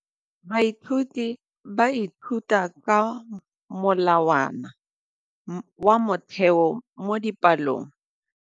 Baithuti ba ithuta ka molawana wa motheo mo dipalong.